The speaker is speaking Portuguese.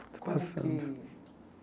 Está passando.